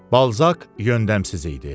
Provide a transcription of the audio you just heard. Balzaq yöndəmsiz idi.